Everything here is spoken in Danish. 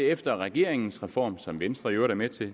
efter regeringens reform som venstre i øvrigt er med til